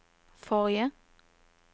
forrige